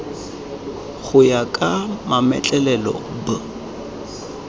go ya ka mametlelelo b